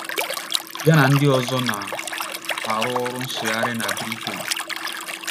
Ya na ndị ọzọ na - arụ ọrụ nsụgharị na Briten.